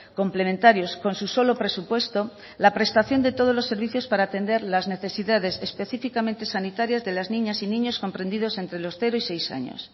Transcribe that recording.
complementarios con su solo presupuesto la prestación de todos los servicios para atender las necesidades específicamente sanitarias de las niñas y niños comprendidos entre los cero y seis años